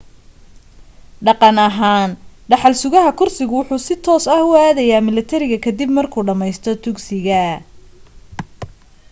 dhaqan ahaan dhaxal sugah kursigu waxa si toos ah u aadaya milatariga ka dib markuu dhammaysto dugsiga